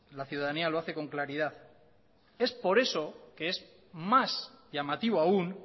la ciudadanía lo hace con claridad es por eso que es más llamativo aún